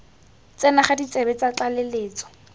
tsena ga ditsebe tsa tlaleletso